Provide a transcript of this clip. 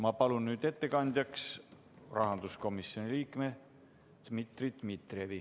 Ma palun nüüd ettekandjaks rahanduskomisjoni liikme Dmitri Dmitrijevi.